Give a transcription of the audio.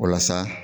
Walasa